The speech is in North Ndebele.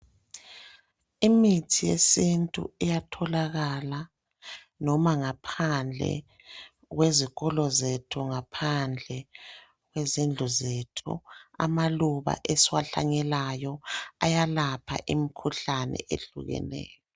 Imithi yesintu iyatholakala noma ngaphandle kwezikolo zethu, ngaphandle kwezindlu zethu. Amaluba esiwahlanyelayo ayalapha imikhuhlane eyehlukeneyo.